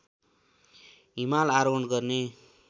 हिमाल आरोहण गर्ने